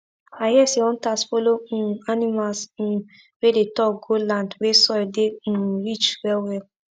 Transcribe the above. i hear say hunters follow um animals um wey dey talk go land wey soil dey um rich well well